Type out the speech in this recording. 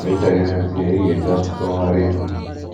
Mgbe ị chọrọ ịrụzi ya, i ga-eche ọtụtụ nhọrọ ihu.